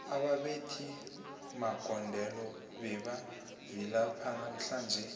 ababethi magondelo bebavilapha namhlanje